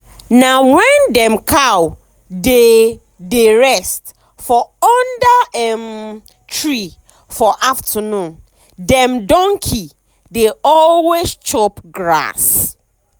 na when dem cow dey dey rest for under um tree for afternoon dem donkey dey always um chop grass.